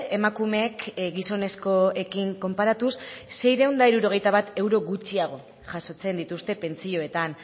emakumeek gizonezkoekin konparatuz seiehun eta hirurogeita bat euro gutxiago jasotzen dituzte pentsioetan